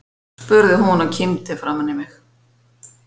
spurði hún og kímdi framan í mig.